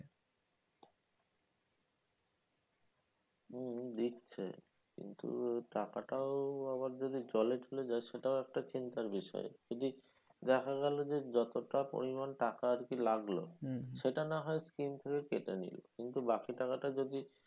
উম দিচ্ছে কিন্তু টাকাটাও আবার যদি জলে চলে যায় সেটাও একটা চিন্তার বিষয় যদি দেখা গেলো যে যতটা পরিমান টাকা আরকি লাগলো সেটা নাহয় scheme থেকে কেটে নিল কিন্তু বাকি টাকাটা যদি,